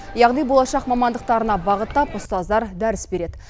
яғни болашақ мамандықтарына бағыттап ұстаздар дәріс береді